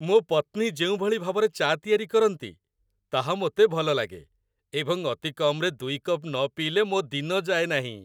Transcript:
ମୋ ପତ୍ନୀ ଯେଉଁଭଳି ଭାବରେ ଚା' ତିଆରି କରନ୍ତି, ତାହା ମୋତେ ଭଲ ଲାଗେ ଏବଂ ଅତିକମ୍‌ରେ ୨ କପ୍ ନ ପିଇଲେ ମୋ ଦିନ ଯାଏ ନାହିଁ।